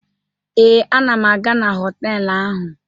Ee, ana m aga na họtelụ ahụ.